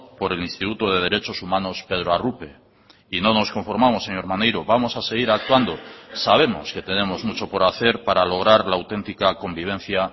por el instituto de derechos humanos pedro arrupe y no nos conformamos señor maneiro vamos a seguir actuando sabemos que tenemos mucho por hacer para lograr la auténtica convivencia